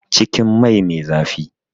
Cikin mai me zafi